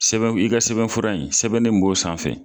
Sɛbɛ i ka sɛbɛnfura in sɛbɛnni min b'o sanfɛ.